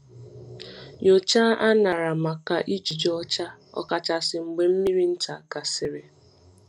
Nyochaa añara maka ijiji ọcha, ọkachasị mgbe mmiri nta gasịrị.